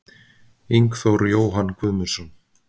Ingþór Jóhann Guðmundsson